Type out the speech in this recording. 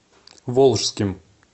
волжским